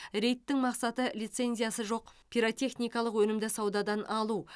рейдтің мақсаты лицензиясы жоқ пиротехникалық өнімді саудадан алу